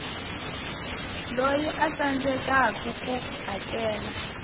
loyi a tsandzekaku ku hakela